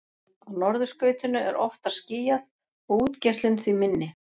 á norðurskautinu er oftar skýjað og útgeislun því minni